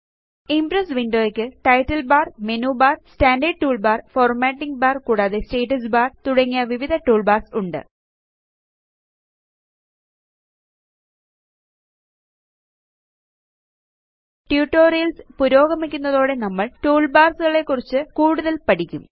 Impress window യ്ക്ക് title bar menu bar standard toolbar formatting bar കൂടാതെ status bar തുടങ്ങി വിവിധ ടൂൾ ബാർസ് ഉണ്ട് ട്യൂട്ടോറിയൽസ് പുരോഗമിക്കുന്നതോടെ നമ്മള് ടൂൾ ബാർസ് കളെക്കുറിച്ച് കൂടുതല് പഠിക്കും